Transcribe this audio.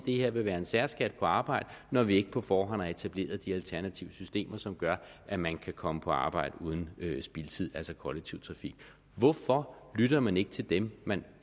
det her vil være en særskat på arbejde når vi ikke på forhånd har etableret de alternative systemer som gør at man kan komme på arbejde uden spildtid altså kollektiv trafik hvorfor lytter man ikke til dem man